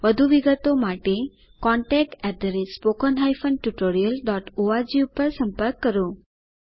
વધુ વિગતો માટે contactspoken tutorialorg પર સંપર્ક કરો